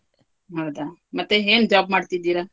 ಹೌದಾ, ಮತ್ತೆ ಏನ್ job ಮಾಡ್ತಿದ್ದೀರಾ?